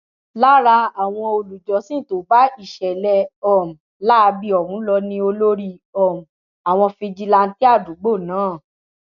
lára àwọn olùjọsìn tó bá ìṣẹlẹ um láabi ọhún lọ ni olórí um àwọn fìjìláńtẹ àdúgbò náà